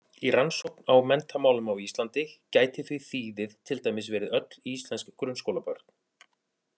Í rannsókn á menntamálum á Íslandi gæti því þýðið til dæmis verið öll íslensk grunnskólabörn.